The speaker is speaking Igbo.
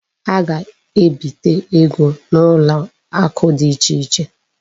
A ga-ebite ego n'ụlọakụ dị ichè iche.